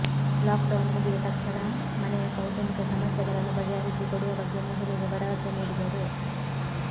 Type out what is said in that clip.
lock down ಮುಗಿದ ತಕ್ಷಣ ಮನೆಯ ಕೌಟುಂಬಿಕ ಸಮಸ್ಯೆಗಳನ್ನು ಬಗೆಹರಿಸಿ ಕೊಡುವ ಬಗ್ಗೆ ಮಹಿಳೆಗೆ ಭರವಸೆ ನೀಡಿದರು